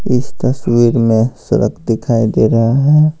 इस तस्वीर में सड़क दिखाई दे रहा है।